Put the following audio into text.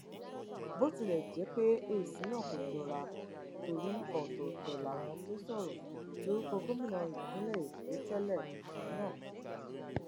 bó tilẹ jẹ pé èsì náà kò jọra torí ọtọọtọ làwọn tó sọrọ lórúkọ gómìnà ìpínlẹ èkó tẹlẹrí náà